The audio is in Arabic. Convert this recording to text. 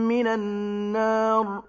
مِّنَ النَّارِ